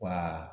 Wa